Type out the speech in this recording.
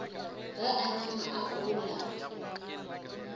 ge a nama a gola